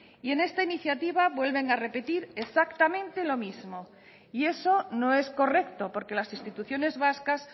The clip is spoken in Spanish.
y en esta iniciativa vuelven a repetir exactamente lo mismo y eso no es correcto porque las instituciones vascas